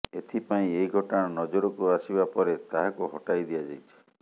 ଏଥିପାଇଁ ଏହି ଘଟଣା ନଜରକୁ ଆସିବା ପରେ ତାହାକୁ ହଟାଇ ଦିଆଯାଇଛି